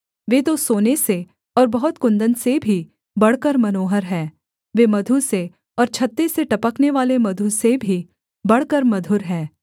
वे तो सोने से और बहुत कुन्दन से भी बढ़कर मनोहर हैं वे मधु से और छत्ते से टपकनेवाले मधु से भी बढ़कर मधुर हैं